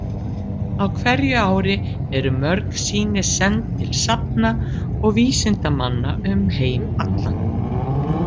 Á hverju ári eru mörg sýni send til safna og vísindamanna um heim allan.